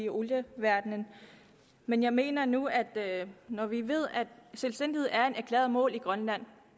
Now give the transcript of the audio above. i olieverdenen men jeg mener nu at når vi ved at selvstændighed er et erklæret mål i grønland